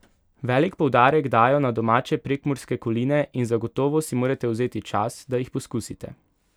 Velik poudarek dajo na domače prekmurske koline in zagotovo si morate vzeti čas, da jih poskusite.